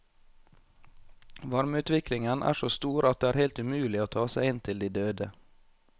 Varmeutviklingen er så stor at det er helt umulig å ta seg inn til de døde.